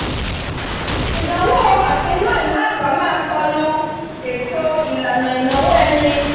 ìdánwò àti ná ìná àpà máá kọlu ètò ìlànà ìnáwó ẹni